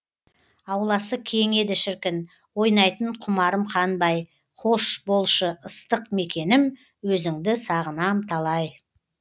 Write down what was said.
ауласы кең еді шіркін ойнайтын құмарым қанбай қош болшы ыстық мекенім өзіңді сағынам талай